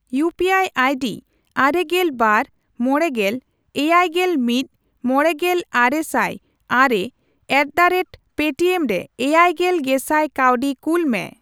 ᱤᱭᱩᱯᱤᱟᱭ ᱟᱭᱰᱤ ᱟᱨᱮᱜᱮᱞ ᱵᱟᱨ, ᱢᱚᱲᱮᱜᱮᱞ, ᱮᱭᱟᱭᱜᱮᱞ ᱢᱤᱫ, ᱢᱚᱲᱮᱜᱮᱞ, ᱟᱨᱮᱥᱟᱭ ᱟᱨᱮ ᱮᱴᱫᱟᱨᱮᱴᱯᱮᱴᱤᱮᱢ ᱨᱮ ᱮᱭᱟᱭᱜᱮᱞ ᱜᱮᱥᱟᱭ ᱠᱟᱹᱣᱰᱤ ᱠᱩᱞ ᱢᱮ ᱾